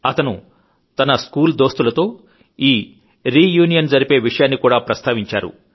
అతను తన స్కూలుదోస్తులతో ఈరీయూనియన్ జరిపే విషయాన్ని కూడా ప్రస్తావించారు